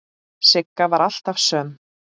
Sigga var alltaf söm.